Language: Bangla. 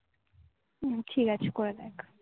হম ঠিক আছে করে দেখ